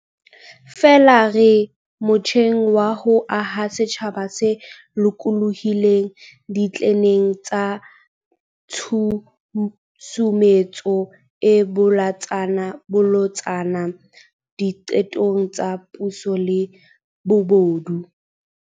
Feela re motjheng wa ho aha setjhaba se lokolohileng ditleneng tsa tshusumetso e bolotsana diqetong tsa puso le bobodu.